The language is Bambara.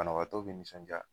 Banabaatɔ be nisɔnja